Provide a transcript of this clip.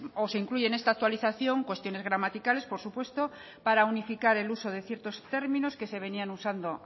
o se incluyen en esta actualización cuestiones gramaticales por supuesto para unificar el uso de ciertos términos que se venían usando